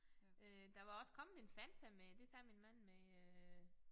Øh der var også kommet en Fanta med det sagde min mand med øh